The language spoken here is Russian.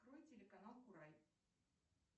открой телеканал курай